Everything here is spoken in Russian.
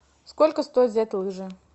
сколько стоит взять лыжи